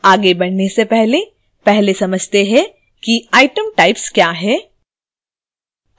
आगे बढ़ने से पहले पहले समझते हैं कि item types क्या हैं